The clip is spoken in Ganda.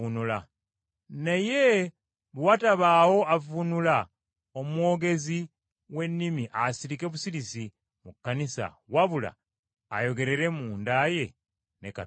Naye bwe watabaawo avvuunula omwogezi w’ennimi asirike busirisi mu Kkanisa wabula ayogerere munda ye ne Katonda.